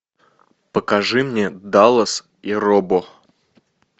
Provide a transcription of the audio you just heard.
покажи мне даллас и робо